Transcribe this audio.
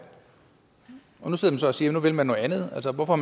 og nu sidder man så og siger at nu vil man noget andet altså hvorfor